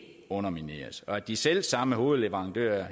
undermineres og at de selv samme henholdsvis hovedleverandører og